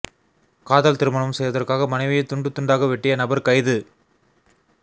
காதல் திருமணம் செய்வதற்காக மனைவியைக் துண்டு துண்டாக வெட்டிய நபர் கைது